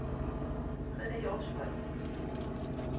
Rene' Hjortshøj